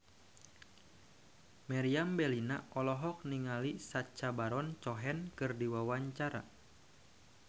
Meriam Bellina olohok ningali Sacha Baron Cohen keur diwawancara